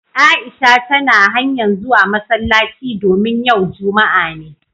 Aisha tana hanya'n zuwa masallaci domin yau Juma'a ne.